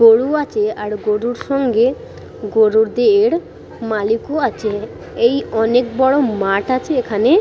গরু আছে গরুর সঙ্গে গরুদের মালিকও আছে এই অনেক বড় মাঠ আছে এখানে।